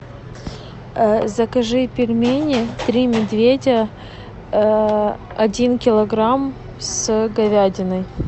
закажи пельмени три медведя один килограмм с говядиной